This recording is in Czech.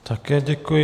Také děkuji.